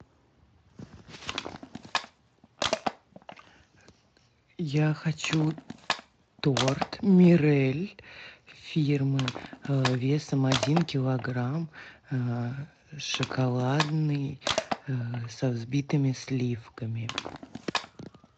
я хочу торт мирель фирмы весом один килограмм шоколадный со взбитыми сливками